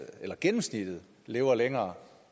eller gennemsnittet lever længere